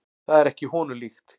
Það er ekki honum líkt.